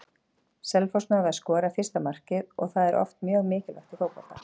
Selfoss náði að skora fyrsta markið og það er oft mjög mikilvægt í fótbolta.